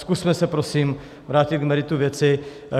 Zkusme se prosím vrátit k meritu věci.